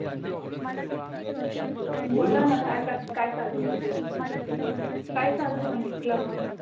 बोला ना काय करता काय चालू आहे? काय चालू आहे म्हटलं